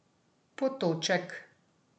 Potoček!